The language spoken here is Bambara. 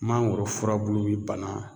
Mangoro furabulu be bana